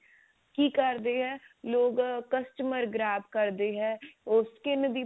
ਕੀ ਕਰਦੇ ਆ ਲੋਕ customer ਗਰਬ ਕਰਦੇ ਹੈ ਉਹ skin ਦੀ